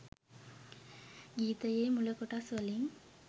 ගීතයේ මුල කොටස් වලින්